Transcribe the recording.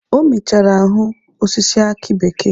O mechara hụ osisi akị bekee.